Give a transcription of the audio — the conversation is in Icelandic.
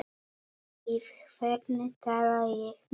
Við hvern tala ég núna?